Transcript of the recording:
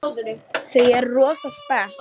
Þau eru rosa spennt.